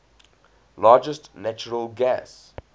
largest natural gas